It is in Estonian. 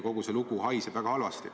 Kogu see lugu haiseb väga halvasti.